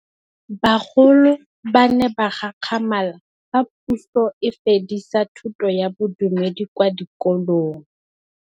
Bagolo ba ne ba gakgamala fa Pusô e fedisa thutô ya Bodumedi kwa dikolong.